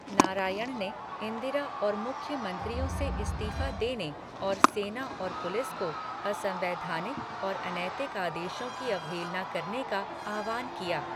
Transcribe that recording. नारायण ने इंदिरा और मुख्यमंत्रियों से इस्तीफा देने और सेना और पुलिस को असंवैधानिक और अनैतिक आदेशों की अवहेलना करने का आह्वान किया।